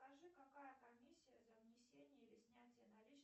скажи какая комиссия за внесение или снятие наличных